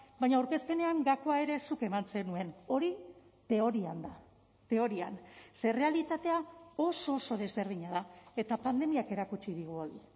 baina aurkezpenean gakoa ere zuk eman zenuen hori teorian da teorian ze errealitatea oso oso desberdina da eta pandemiak erakutsi digu hori